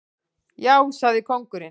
Já, sagði kóngurinn.